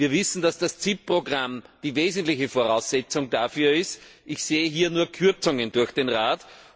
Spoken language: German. Wir wissen, dass das Zielprogramm die wesentliche Voraussetzung dafür ist ich sehe hier nur Kürzungen durch den Rat.